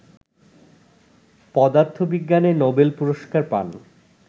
পদার্থবিজ্ঞানে নোবেল পুরস্কার পান